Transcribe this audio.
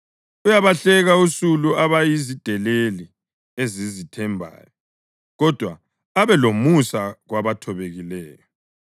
Uyabahleka usulu abayizideleli ezizithembayo, kodwa abe lomusa kwabathobekileyo.